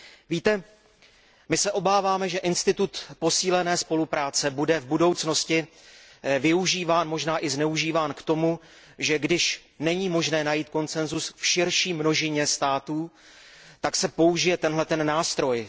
Víte, my se obáváme, že institut posílené spolupráce bude v budoucnosti využíván, možná i zneužíván k tomu, že když není možné najít konsensus v širší množině států, tak se použije tento nástroj.